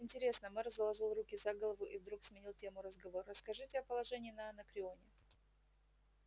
интересно мэр заложил руки за голову и вдруг сменил тему разговора расскажите о положении на анакреоне